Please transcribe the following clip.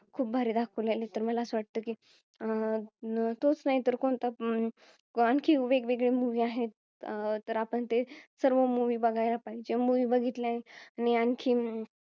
खूप भारी दाखवलेलं आहे तर मला असं वाटतं की अं तोच नाही तर कोणता आणखी वेगवेगळे Movie आहेत अह तर आपण ते सर्व Movie बघायला पाहिजे. Movie बघितल्याने आणखीन